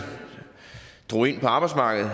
drog ind på arbejdsmarkedet